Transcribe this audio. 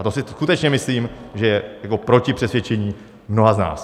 A to si skutečně myslím, že je proti přesvědčení mnoha z nás.